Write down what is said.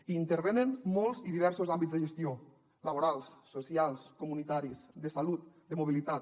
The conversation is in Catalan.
hi intervenen molts i diversos àmbits de gestió laborals socials comunitaris de salut de mobilitat